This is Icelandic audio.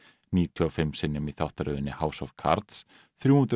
níutíu og fimm sinnum í þáttaröðinni House of Cards þrjú hundruð